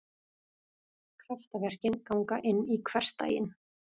Kraftaverkin ganga inn í hversdaginn.